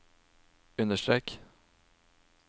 understrek